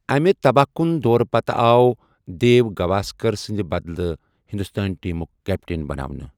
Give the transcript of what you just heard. امہِ تباہ کُن دورٕ پتہٕ آو دیو گویسکر سٕندِ بدلہٕ ہِندوستٲنۍ ٹیمُک کپتان بناونہٕ ۔